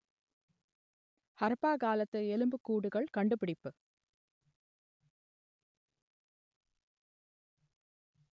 ஹரப்பா காலத்து எலும்புக்கூடுகள் கண்டுபிடிப்பு